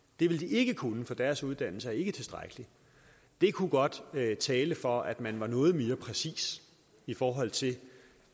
det ville de ikke kunne for deres uddannelser er ikke tilstrækkelige det kunne godt tale for at man var noget mere præcis i forhold til